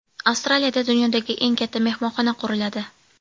Avstraliyada dunyodagi eng katta mehmonxona quriladi.